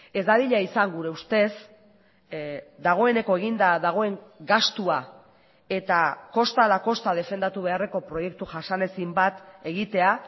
ez dadila izan gure ustez dagoeneko eginda dagoen gastua eta kosta ala kosta defendatu beharreko proiektu jasanezin bat egitea